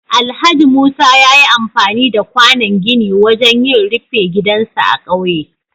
Alhaji Musa ya yi amfani da kwànon gini wajen yin rufe gidansa a ƙauye.